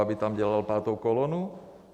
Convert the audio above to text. Aby tam dělal pátou kolonu?